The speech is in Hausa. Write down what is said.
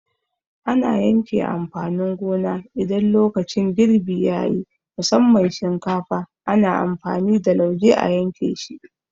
Ana yanke amfanin gona idan lokacin girbi yayi, musamman shinkafa ana amfani da lauje a yanke shi